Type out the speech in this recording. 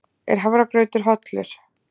Er hafragrautur hollur?